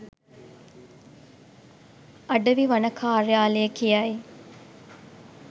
අඩවි වන කාර්යාලය කියයි.